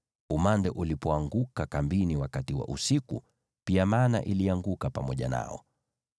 Umande ulipoanguka kambini wakati wa usiku, pia mana ilianguka pamoja nao.